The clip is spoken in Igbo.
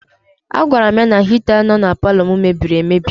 A gwara m ya na hita nọ na paalọ m mebiri emebi.